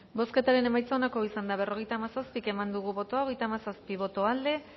bozketaren emaitza onako izan da berrogeita hamazazpi eman dugu bozka hogeita hamazazpi boto aldekoa